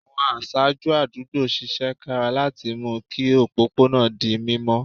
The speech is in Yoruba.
Àwọn aṣáájú àdúgbò ṣiṣẹ́ kára láti mú kí òpópó náà di mímọ́